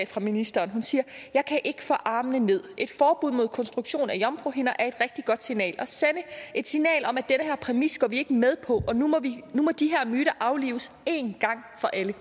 fra ministeren jeg kan ikke få armene ned et forbud mod konstruktion af jomfruhinder er et rigtig godt signal at sende et signal om at den her præmis går vi ikke med på og nu må de her myter aflives en gang for alle